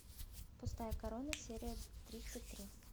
пустая корона серия тридцать три